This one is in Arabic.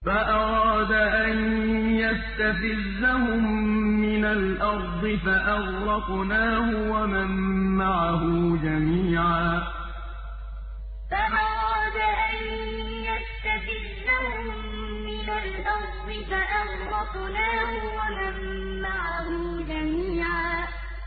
فَأَرَادَ أَن يَسْتَفِزَّهُم مِّنَ الْأَرْضِ فَأَغْرَقْنَاهُ وَمَن مَّعَهُ جَمِيعًا فَأَرَادَ أَن يَسْتَفِزَّهُم مِّنَ الْأَرْضِ فَأَغْرَقْنَاهُ وَمَن مَّعَهُ جَمِيعًا